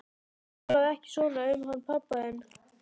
Talaðu ekki svona um hann pabba þinn.